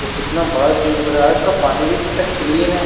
और कितना बड़ा स्विमिंगपूल है इसका पानी भी कितना क्लीन है।